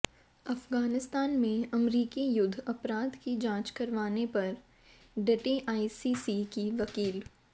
अफ़ग़ानिस्तान में अमरीकी युद्ध अपराध की जांच करवाने पर डटी आईसीसी की वकील